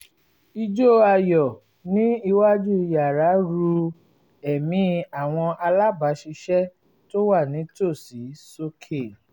ijó ayọ̀ ní iwájú yàrá ru èmí àwọn alábàáṣiṣẹ́ tó wà nítòsí sókè